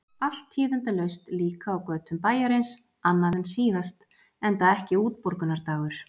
Allt tíðindalaust líka á götum bæjarins, annað en síðast, enda ekki útborgunardagur.